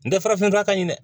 N tɛ farafin fura ka ɲi dɛ